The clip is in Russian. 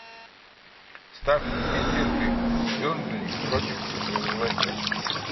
ставь мне дерби бернли против лестер